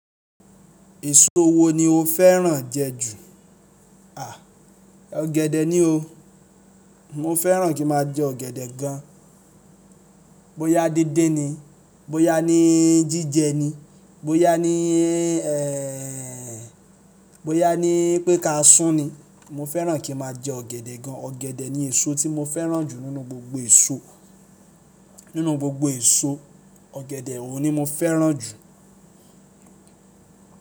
Èso wo ni o fẹ́ràn jẹ ju? À, ọ̀gẹ̀dẹ̀ ni o. Mo fẹ́ràn kí ma jẹ ọ̀gẹ̀dẹ̀ gan. Bóyá dindin ni, bóyá ní jíjẹ ni, bóyá ni ẹ, bóyá ni pé ká sún ni, mo fẹ́ràn kí ma jẹ ọ̀gẹ̀dẹ̀ gan. Ọ̀gẹ̀dẹ̀ ni èso tí mo fẹ́ràn jù nínú gbogbo èso. Nínú gbogbo èso, ọ̀gẹ̀dẹ̀ oun ni mo fẹ́ràn jù.